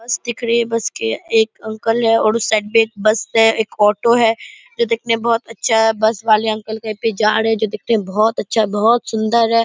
बस दिख रही है बस के एक अंकल है और उस साइड में एक बस है एक ऑटो है जो दिखने में बहुत अच्छा है बस बाले अंकल कहीं पे जा रहे है जो दिखने में बहुत अच्छा है बहुत सुंदर है।